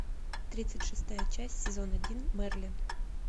тридцать шестая часть сезон один мерлин